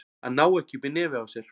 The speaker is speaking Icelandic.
Að ná ekki upp í nefið á sér